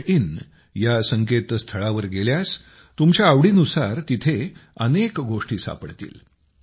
in या संकेतस्थळावर गेल्यास तुमच्या आवडीनुसार तिथे अनेक गोष्टी सापडतील